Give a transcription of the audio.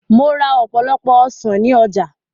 Mo ra ọ̀pọ̀lọpọ̀ ọsàn ní ọjà